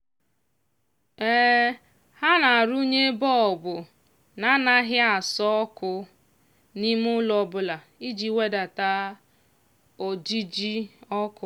ha na-arụnye bọlbụ na-anaghị asọ ọkụ n'ime ụlọ ọbụla iji wedata ojiji ọkụ.